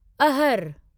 अहर